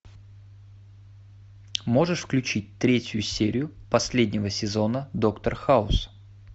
можешь включить третью серию последнего сезона доктор хаус